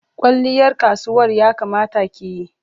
Kwalliyar kasuwal ya kamata ki yi.